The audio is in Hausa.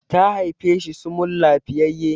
ta haife shi sumul lafiyayye!